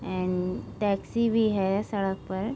and taxi भी है सड़क पर--